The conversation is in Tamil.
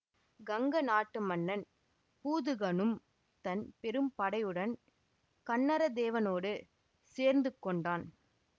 கங்க நாட்டு மன்னன் பூதுகனும் தன் பெரும் படையுடன் கன்னரதேவனோடு சேர்ந்து கொண்டான்